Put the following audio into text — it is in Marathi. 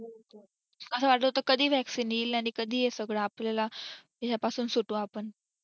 अस वाटत होतं की कधी vaccine येईल आणि कधी हे सगळं आपल्याला ह्या पासून सुटू आपण